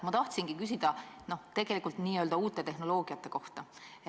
Ma tahtsingi küsida n-ö uute tehnoloogiate kohta.